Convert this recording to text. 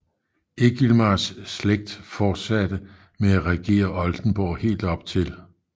Egilmars slægt fortsatte med at regere Oldenborg helt op til 1